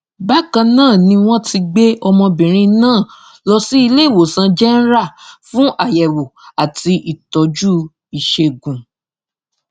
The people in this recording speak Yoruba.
bákan náà ni wọn ti gbé ọmọbìnrin náà lọ iléewòsàn jẹnra fún àyẹwò àti ìtọjú ìṣègùn